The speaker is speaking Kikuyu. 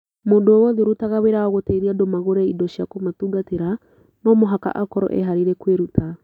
Mũndũ o wothe ũrutaga wĩra wa gũteithia andũ agũre indo cia kũmatungatĩra no mũhaka akorũo eharĩirie kwĩruta.